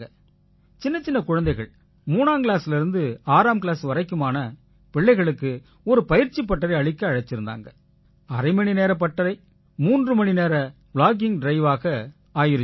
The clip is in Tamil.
சின்னச் சின்னக் குழந்தைகள் மூணாங்கிளாஸ்லேர்ந்து ஆறாம் கிளாஸ் வரைக்குமான பிள்ளைங்களுக்கு ஒரு பயிற்சிப் பட்டரை அளிக்க அழைச்சிருந்தாங்க அரை மணி நேரப் பட்டரை 3 மணி நேர ப்ளாகிங் driveஆ ஆயிருச்சு